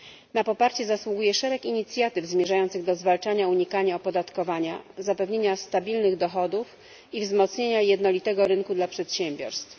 Na poparcie zasługuje szereg inicjatyw zmierzających do zwalczania unikania opodatkowania, zapewnienia stabilnych dochodów i wzmocnienia jednolitego rynku dla przedsiębiorstw.